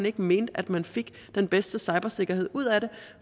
ikke mente at man fik den bedste cybersikkerhed ud af det